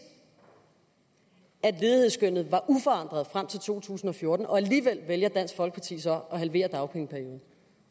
at ledighedsskønnet var uforandret frem til to tusind og fjorten og alligevel vælger dansk folkeparti så at halvere dagpengeperioden